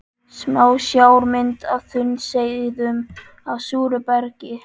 Smásjármynd af þunnsneiðum af súru bergi.